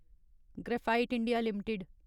graphite India limited